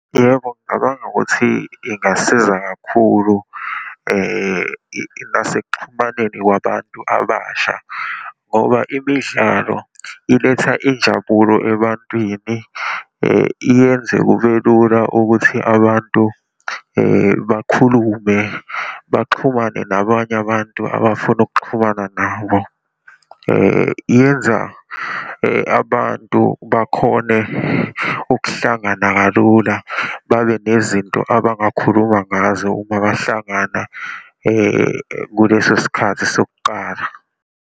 Yebo, ngicabanga ukuthi ingasiza kakhulu nasekuxhumaneni kwabantu abasha, ngoba imidlalo iletha injabulo ebantwini, iyenze kubelula ukuthi abantu bakhulume, baxhumane nabanye abantu abafuna ukuxhumana nabo. Iyenza abantu bakhone ukuhlangana kalula, babe nezinto abangakhuluma ngazo uma bahlangana kuleso sikhathi sokuqala.